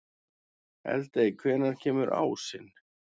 Eldey, hvenær kemur ásinn?